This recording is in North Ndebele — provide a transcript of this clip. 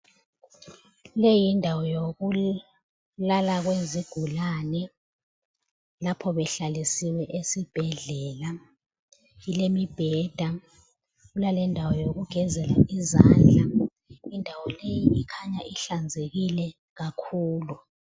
Leyi yindawo yokulala kwezigulane lapho behlalisiwe esibhedlela . Kulemibheda kulalendawo yokugezela izandla. Indawo leyi ikhanya ihlanzekile kakhulu